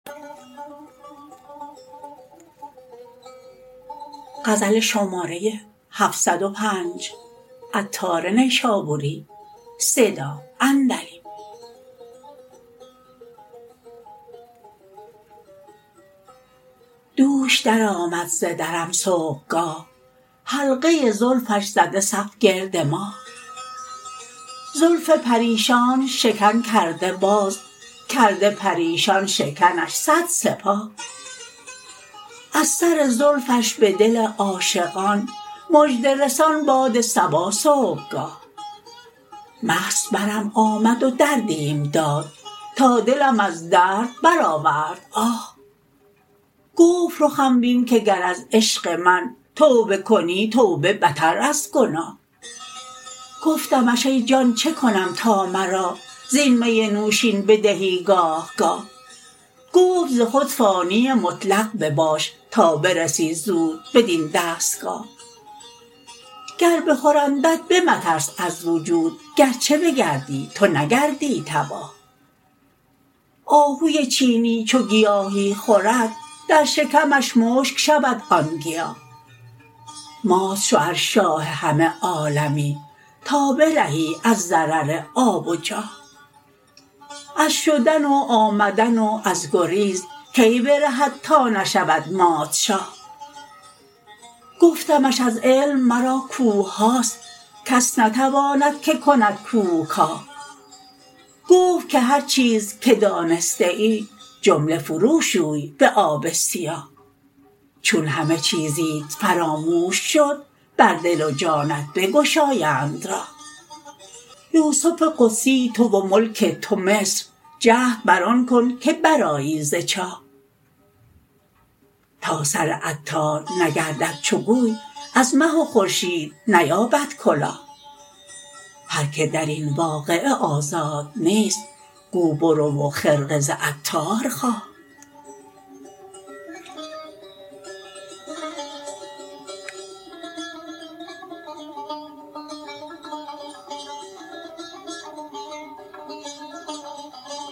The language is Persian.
دوش درآمد ز درم صبحگاه حلقه زلفش زده صف گرد ماه زلف پریشانش شکن کرده باز کرده پریشان شکنش صد سپاه از سر زلفش به دل عاشقان مژده رسان باد صبا صبحگاه مست برم آمد و دردیم داد تا دلم از درد برآورد آه گفت رخم بین که گر از عشق من توبه کنی توبه بتر از گناه گفتمش ای جان چکنم تا مرا زین می نوشین بدهی گاه گاه گفت ز خود فانی مطلق بباش تا برسی زود بدین دستگاه گر بخورندت به مترس از وجود گرچه بگردی تو نگردی تباه آهو چینی چو گیاهی خورد در شکمش مشک شود آن گیاه مات شو ار شاه همه عالمی تا برهی از ضرر آب و جاه از شدن و آمدن و از گریز کی برهد تا نشود مات شاه گفتمش از علم مرا کوه هاست کس نتواند که کند کوه کاه گفت که هرچیز که دانسته ای جمله فرو شوی به آب سیاه چون همه چیزیت فراموش شد بر دل و جانت بگشایند راه یوسف قدسی تو و ملک تو مصر جهد بر آن کن که برآیی ز چاه تا سر عطار نگردد چو گوی از مه و خورشید نیابد کلاه هرکه درین واقعه آزاد نیست گو برو و خرقه ز عطار خواه